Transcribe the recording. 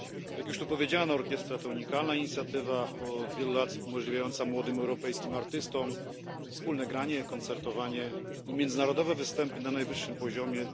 Jak już tu powiedziano, orkiestra jest unikalną inicjatywą, która od wielu lat umożliwia młodym europejskim artystom wspólne granie, koncertowanie i międzynarodowe występy na najwyższym poziomie.